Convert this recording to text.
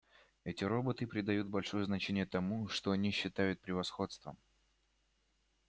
эти роботы придают большое значение тому что они считают превосходством